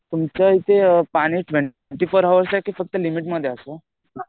तुमच्या इथे पाणी ट्वेन्टी फोर हवर्स आहे की लिमिटमध्ये असं.